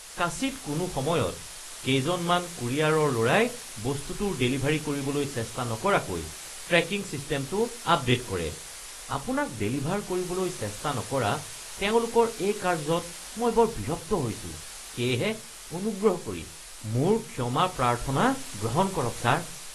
কাচিৎ কোনো সময়ত, কেইজনমান কোৰিয়াৰৰ ল’ৰাই বস্তুটোৰ ডেলিভাৰী কৰিবলৈ চেষ্টা নকৰাকৈ ট্ৰেকিং ছিষ্টেমটো আপডে’ট কৰে। আপোনাক ডেলিভাৰ কৰিবলৈ চেষ্টা নকৰা তেওঁলোকৰ এই কাৰ্য্যত মই বৰ বিৰক্ত হৈছো সেয়েহে অনুগ্ৰহ কৰি মোৰ ক্ষমা প্ৰাৰ্থনা গ্ৰহণ কৰক, ছাৰ। (কোৰিয়াৰ)